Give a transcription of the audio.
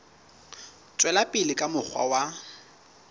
tswela pele ka mokgwa wa